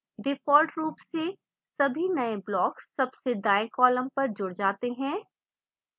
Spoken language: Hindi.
default रूप से सभी नये blocks सबसे दाएं column पर जुड जाते हैं